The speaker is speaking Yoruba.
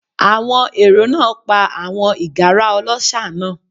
Àwọn èrò náà pa àwọn ìgárá ọlọ́ṣà náà.